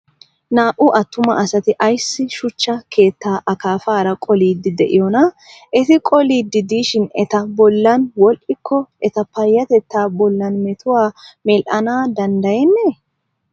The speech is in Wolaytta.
Naa''u attuma asati ayissi shuchcha keetta akaafaara qoliddi diyoona? Eti qoliddi diishin eta bollan woddikko eta payyatetta bollan metuwaa medhana danddayennee?